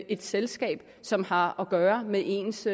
et selskab som har at gøre med ens